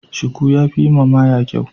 Shuku ya fi yiwa maya kyau.